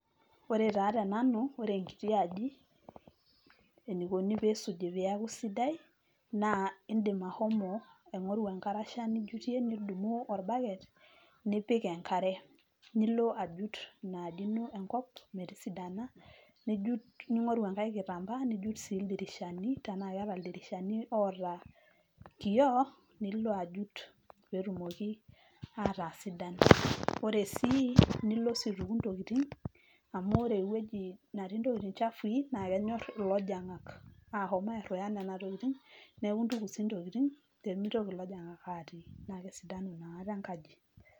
Ore taa tenanu , ore enkiti aji enikoni pisuji peaku sidai naa indim ashomo aingoru enkarasha nijutie nidumu orbaket nipik enkare. Nilo ajut inaaji ino enkop nesidanu . Ningoru enkae kitambaa nijut si ildirishani tenaa iyata ildirishani oota kioo , nilo ajut petumoki ataa sidan . Ore sii nilo aituku intokitin amu ore ewueji netii intopkitin chafui naa kenyor ilojongak ahom airuya nena tokitin , neeku intuku sii intokitin pemitoki ilojingak atii naa kesidanu inakata enkaji.